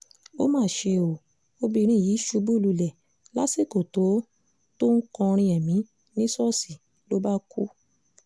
ó mà ṣe o obìnrin yìí ṣubú lulẹ̀ lásìkò tó tó ń kọrin èmi ní ṣọ́ọ̀ṣì ló bá kú